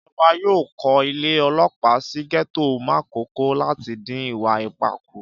Ìjọba yóò kó ilé ọlọ́pàá sí gẹ́tò Màkókò láti dín ìwà ipá kù